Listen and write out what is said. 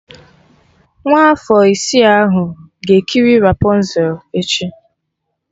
Nwa afọ isi ahụ ga-ekiri rapọnzel echi